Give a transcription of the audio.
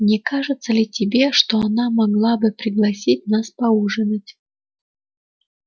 не кажется ли тебе что она могла бы пригласить нас поужинать